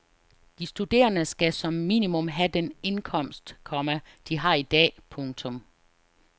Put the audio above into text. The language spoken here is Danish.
De studerende skal som minimum have den indkomst, komma de har i dag. punktum